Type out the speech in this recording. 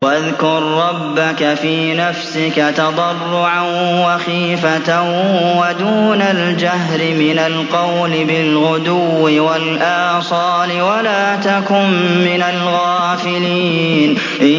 وَاذْكُر رَّبَّكَ فِي نَفْسِكَ تَضَرُّعًا وَخِيفَةً وَدُونَ الْجَهْرِ مِنَ الْقَوْلِ بِالْغُدُوِّ وَالْآصَالِ وَلَا تَكُن مِّنَ الْغَافِلِينَ